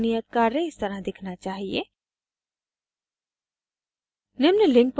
आपका पूर्ण नियत कार्य इस तरह दिखना चाहिए